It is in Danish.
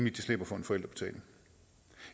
at de slipper for en forældrebetaling